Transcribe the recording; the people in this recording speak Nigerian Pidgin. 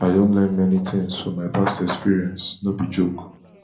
i don learn many tings for my past experiences no be joke